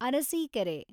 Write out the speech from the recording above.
Arsikere